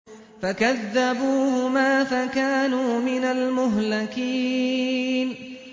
فَكَذَّبُوهُمَا فَكَانُوا مِنَ الْمُهْلَكِينَ